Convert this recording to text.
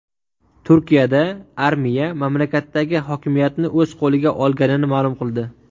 Turkiyada armiya mamlakatdagi hokimiyatni o‘z qo‘liga olganini ma’lum qildi.